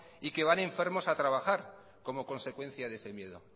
y que van enfermos a trabajar como consecuencia de ese miedo